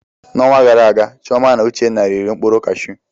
N'ọnwa gara aga, Chioma na Uchenna riri mkpụrụ kashu.